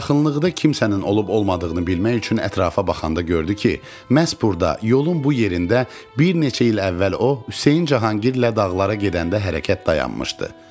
Yaxınlıqda kimsənin olub-olmadığını bilmək üçün ətrafa baxanda gördü ki, məhz burda, yolun bu yerində bir neçə il əvvəl o, Hüseyn Cahangirlə Dağlılara gedəndə hərəkət dayanmışdı.